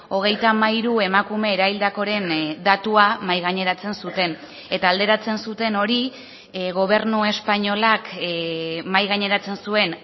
hogeita hamairu emakume eraildakoren datua mahai gaineratzen zuten eta alderatzen zuten hori gobernu espainolak mahai gaineratzen zuen